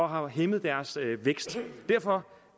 har hæmmet deres vækst derfor